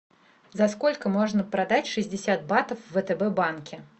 за сколько можно продать шестьдесят батов в втб банке